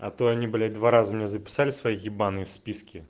а то они блять два раза меня записали свои ебаные списки